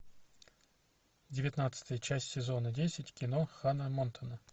девятнадцатая часть сезона десять кино ханна монтана